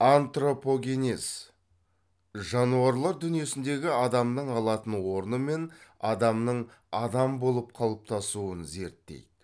антропогенез жануарлар дүниесіндегі адамның алатын орны мен адамның адам болып қалыптасуын зерттейді